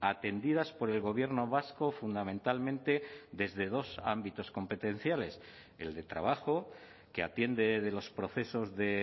atendidas por el gobierno vasco fundamentalmente desde dos ámbitos competenciales el de trabajo que atiende de los procesos de